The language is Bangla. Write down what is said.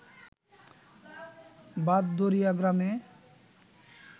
ভাতদড়িয়া গ্রামে